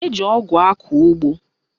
Eji ọgụ akọ ụgbọ